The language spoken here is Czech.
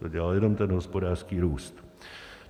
To dělá jenom ten hospodářský růst.